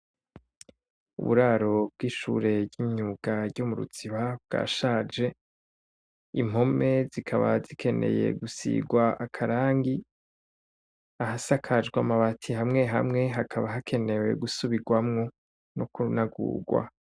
Uburaro bw'ishure ryo murimuziba ryashaje ,impome zikaba zikeneye gusirwa akarangi, ahasakajwe amabati hamwe hamwe hakaba hakenewe gusubirwamwo no kunagurwa.